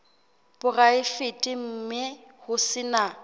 poraefete mme ho se na